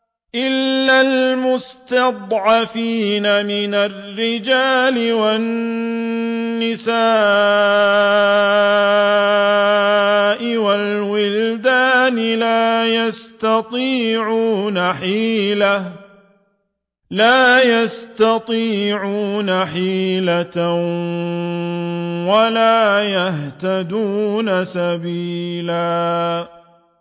إِلَّا الْمُسْتَضْعَفِينَ مِنَ الرِّجَالِ وَالنِّسَاءِ وَالْوِلْدَانِ لَا يَسْتَطِيعُونَ حِيلَةً وَلَا يَهْتَدُونَ سَبِيلًا